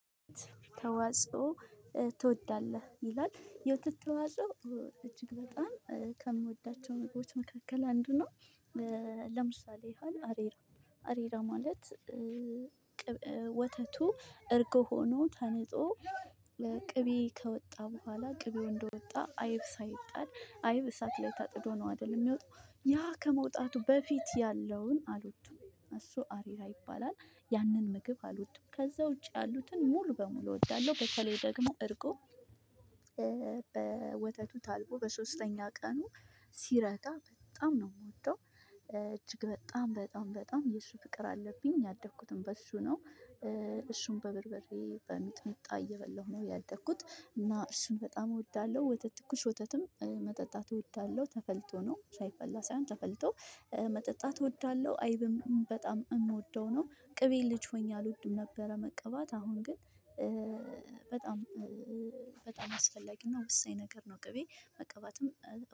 ተዋጽኦ ትወዳለህ ይላል የወተት ተዋጽኦ እጅግ በጣም ከምወዳቸው ምግቦች መካከል አንዱ ነው። ለምሳሌ ያህል አሬራ አሬራ ማለት። ወተቱ እርጎ ሆኖ ተንጦ ለቅቤ ከወጣ በኋላ ቅቤው እንደወጣ አይብ ሳይጣድ አይብ እሳት ላይ ታጥዶ ነው አይደል የሚወጣው ያ ከመውጣቱ በፊት ያለውን አልወድም። እሱ አሪራ ይባላል ያንን ምግብ አልወድም ከዛ ውጭ ያሉትን ሙሉ በሙሉ እወዳለሁ። በተለይ ደግሞ እርጎ። ወተቱ ታልቦ በሶስተኛ ቀኑ ሲረጋ በጣም ነው የምወደው። እጅግ በጣም በጣም በጣም የሱ ፍቅር አለብኝ ያደግኩትም በሱ ነው። እሱን በበርበሬ በሚጥምጣ እየበላሁ ነው ያደግኩት እና እሱን በጣም እወዳለሁ። ወተት ትኩስ ወተትም መጠጣት እወዳለሁ ተፈልቶ ነው ሳይፈላ ሳይሆን ተፈልቶ መጠጣት እወዳለሁ። አይብም በጣም የምወደው ነው። ቅቤ ልጅ ሆኜ አልወድም ነበረ መቀባት አሁን ግን በጣም በጣም አስፈላጊና ወሳኝ ነገር ነው ቅቤ መቀባትም